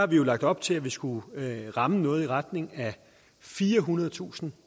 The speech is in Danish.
vi jo lagt op til at vi skulle ramme noget i retning af firehundredetusind